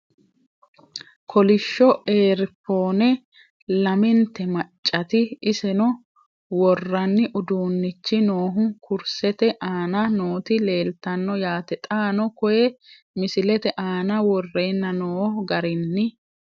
Kolishsho eeri phone lamentte maccati isenno woranni uduunichi noohu kurisette aanna nootti leelittanno yaatte xaanno koye misilette aanna worrenna noo garinni